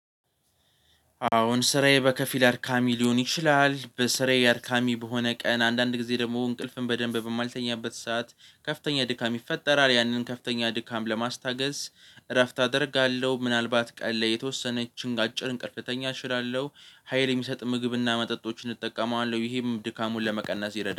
አሁን ስራዬ በከፊል አርድሚ ሊሆን ይችላል በስራዬ አድካሚ በሆነ ቀን አንዳንድ ጊዜ ደግሞ እንቅልፍን በደንብ በማልተኛበት ሰዓት ከፍተኛ ድካም ይፈጠራል ያንን ከፍተኛ ድካም ለማስታገስ እረፍት አደርጋለሁ ምናልባት ቀን ላይ የተወሰነች እንቅስቃሴ እንቅስቃሴ እችላለሁ። ሀይል የሚሰጥ ምግብና መጠጦችን እጠቀማለሁ ይሄም ድካሙን ለመቀነስ ይረዳል